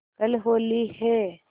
कल होली है